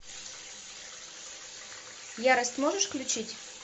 ярость можешь включить